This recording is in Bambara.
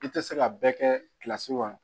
I tɛ se ka bɛɛ kɛ kilasi kɔnɔ